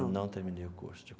Não terminei o curso.